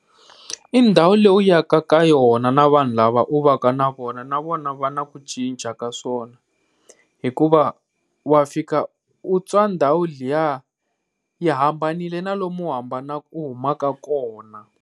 I ndhawu leyi u yaka ka yona na vanhu lava u va ka na vona, na vona va na ku cinca ka swona hikuva wa fika u twa ndhawu liya yi hambanile na lomu hambana ku huma ka kona.